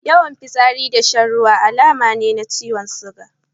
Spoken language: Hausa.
Yawan fitsari da shan ruwa alamu ne na ciwon suga.